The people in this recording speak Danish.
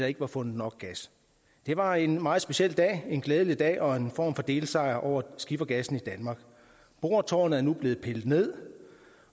ikke var fundet nok gas det var en meget speciel dag en glædelig dag og en form for delsejr over skifergassen i danmark boretårnet er nu blevet pillet ned